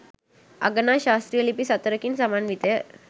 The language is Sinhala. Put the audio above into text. අගනා ශාස්ත්‍රීය ලිපි සතරකින් සමන්විතය.